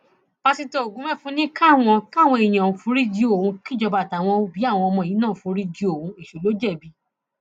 pásítọ ogunmẹfun ni káwọn káwọn èèyàn foríjì òun kìjọba àtàwọn òbí àwọn ọmọ yìí náà foríjì òun èṣù ló jẹbi